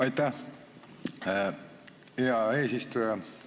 Aitäh, hea eesistuja!